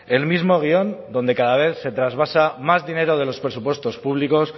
el mismo guion donde cada vez se trasvasa más dinero de los presupuestos públicos